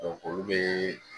olu be